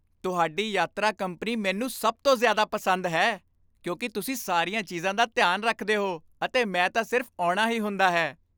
ਤੁਹਾਡੀ ਯਾਤਰਾ ਕੰਪਨੀ ਮੈਨੂੰ ਸਭ ਤੋਂ ਜ਼ਿਆਦਾ ਪਸੰਦ ਹੈ ਕਿਉਂਕਿ ਤੁਸੀਂ ਸਾਰੀਆਂ ਚੀਜ਼ਾਂ ਦਾ ਧਿਆਨ ਰੱਖਦੇ ਹੋ ਅਤੇ ਮੈਂ ਤਾਂ ਸਿਰਫ਼ ਆਉਣਾ ਹੀ ਹੁੰਦਾ ਹੈ।